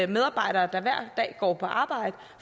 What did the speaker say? medarbejdere der hver dag går på arbejde